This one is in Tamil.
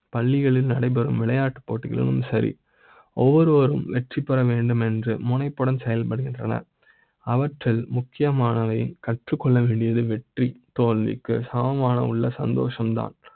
பள்ளிகளில் நடைபெறும் விளையாட்டு போட்டிகளும் சரி , ஒவ்வொரு வரும் வெற்றி பெற வேண்டும் என்ற முனைப்புடன் செயல்படுகின்றன . அவற்றி ல் முக்கியமான வை, கற்றுக் கொள்ள வேண்டியது வெற்றி தோல்வி க்கு சமமான உள்ள சந்தோஷ ம் தான்